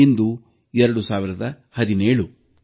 ಇಂದು 2017